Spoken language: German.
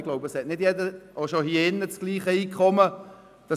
– Ich glaube, nicht jeder hat das gleiche Einkommen, auch schon hier im Saal.